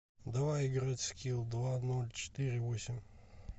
давай играть в скилл два ноль четыре восемь